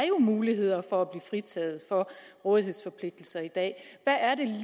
muligheder for at blive fritaget for rådighedsforpligtelser i dag hvad er det